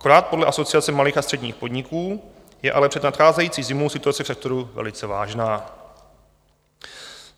Akorát podle Asociace malých a středních podniků je ale před nadcházející zimou situace v sektoru velice vážná.